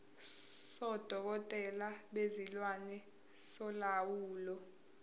sodokotela bezilwane solawulo